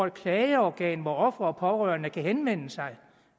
et klageorgan hvor ofre og pårørende kan henvende sig